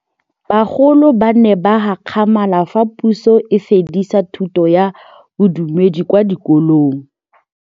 Bagolo ba ne ba gakgamala fa Pusô e fedisa thutô ya Bodumedi kwa dikolong.